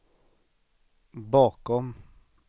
bakom